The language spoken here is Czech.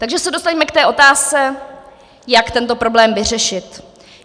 Takže se dostaňme k té otázce, jak tento problém vyřešit.